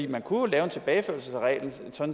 man kunne jo lave en tilbageførelse af reglen